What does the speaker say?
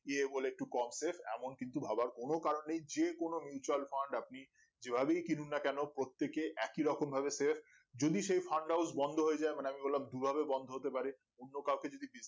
ইয়ে বলে একটু কম save এমন কিন্তু ভাবার কোনো কারণ নেই যে কোনো mutual fund আপনি যেভাবেই কিনুন না কেনো প্রত্যেকে একইরকম ভাবে save যদি সেই fund house বন্ধ হয়ে যাই মানে আমি বললাম দুইভাবে বন্ধ হতে পারে অন্য কাওকে যেদিন Business